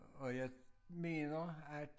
Og jeg mener at